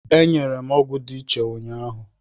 E nyere m ọgwụ dị iche ụnyaahụ.